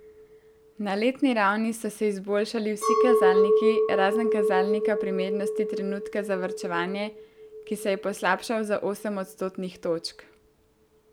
Na letni ravni so se izboljšali vsi kazalniki, razen kazalnika primernosti trenutka za varčevanje, ki se je poslabšal za osem odstotnih točk.